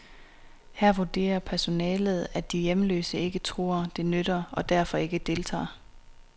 Her vurderer personalet, at de hjemløse ikke tror, det nytter, og derfor ikke deltager.